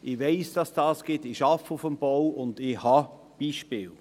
Ich weiss, dass es sie gibt – ich arbeite auf dem Bau und kenne solche Beispiele.